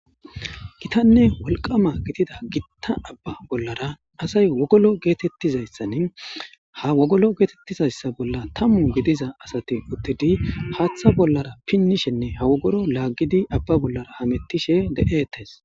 Gitane wolqqama gidida giita abba bolara asay wogollo gettetizayssani ha woggolo gettetizayssan tammu gidiza azatti uttidi haththa bolla pinishshinne ha woggolon laggidi abba bolla hametishe be'ettes.